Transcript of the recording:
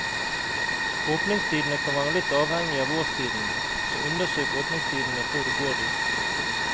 Åpningstidene kan være litt avhengig av årstiden, så undersøk åpningstidene før du går dit.